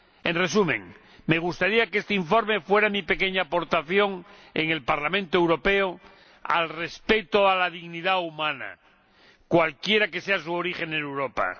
En resumen, me gustaría que este informe fuera mi pequeña aportación en el Parlamento Europeo al respeto a la dignidad humana, cualquiera que sea su origen en Europa.